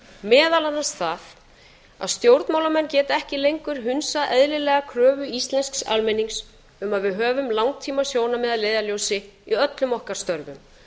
meðal annars það að stjórnmálamenn geta ekki lengur hunsað eðlilega kröfu íslensks almennings um að við höfum langtímasjónarmið að leiðarljósi í öllum okkar störfum